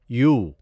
you